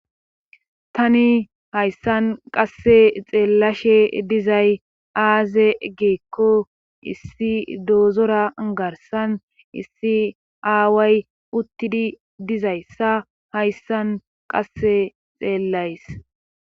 Tani hayssan qasse xeellashe dizay aaze geekko issi doozora garsan issi aaway uttidi dizayssa hayssan qasse xeellays.